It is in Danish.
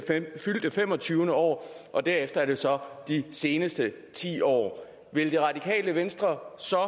fyldte femogtyvende år og derefter er det så for de seneste ti år vil det radikale venstre så